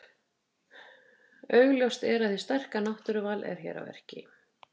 Augljóst er að hið sterka náttúruval er hér að verki.